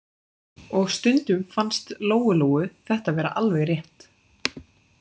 Og stundum fannst Lóu-Lóu þetta vera alveg rétt.